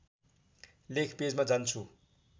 लेख पेजमा जान्छु